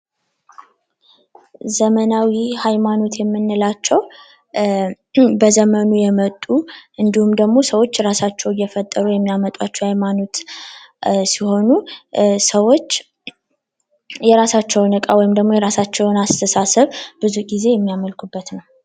ዘመናዊ ሀይማኖት የምንላቸው በዘመኑ የመጡ እንዲሁም ደሞ ሰዎች እራሳቸው እየፈጠሩ የሚያመጧቸው ሀይማኖት ሲሆኑ ሰዎች የራሳቸውን እቃ ወይም አስተሳሰብ ብዙ ጊዜ የሚያመልኩበት ነው።